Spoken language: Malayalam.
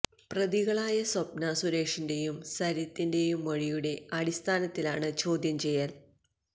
പ്രതികളായ സ്വപ്ന സുരേഷിന്റെയും സരിത്തിന്റെയും മൊഴിയുടെ അടിസ്ഥാനത്തിലാണ് ചോദ്യം ചെയ്യല്